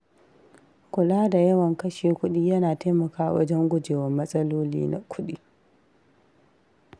Kula da yawan kashe kuɗi yana taimakawa wajen guje wa matsaloli na kuɗi.